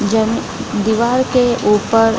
जन दिवाल के ऊपर --